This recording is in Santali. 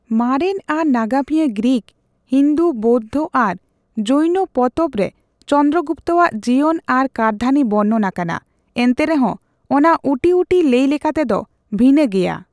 ᱢᱟᱨᱮᱱ ᱟᱨ ᱱᱟᱜᱟᱢᱤᱭᱟᱹ ᱜᱨᱤᱠ, ᱦᱤᱱᱫᱩ, ᱵᱳᱣᱫᱷᱚ ᱟᱨ ᱡᱚᱭᱱᱚ ᱯᱚᱛᱚᱵᱨᱮ ᱪᱚᱱᱫᱨᱚᱜᱩᱯᱛᱚ ᱟᱜ ᱡᱤᱭᱚᱱ ᱟᱨ ᱠᱟᱹᱨᱫᱷᱟᱹᱱᱤ ᱵᱚᱨᱱᱚᱱ ᱟᱠᱟᱱᱟ, ᱮᱱᱛᱮ ᱨᱮᱦᱚᱸ ᱚᱱᱟ ᱩᱴᱤᱩᱴᱤ ᱞᱟᱹᱭ ᱞᱮᱠᱟᱛᱮᱫᱚ ᱵᱷᱤᱱᱟᱹᱜᱮᱭᱟ ᱾